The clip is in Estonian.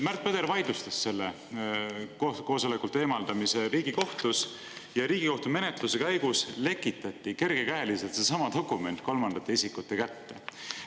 Märt Põder vaidlustas selle koosolekult eemaldamise Riigikohtus ja Riigikohtu menetluse käigus lekitati kergekäeliselt seesama dokument kolmandate isikute kätte.